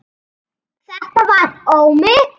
Þetta var Ómi